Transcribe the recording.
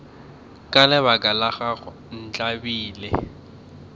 ka lebaka la gago ntlabile